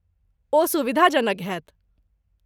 ओ सुविधाजनक होयत।